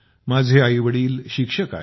माझे आईवडील शाळेत शिक्षक आहेत